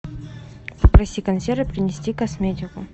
попроси консьержа принести косметику